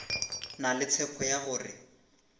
na le tshepo ya gore